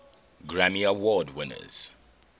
grammy award winners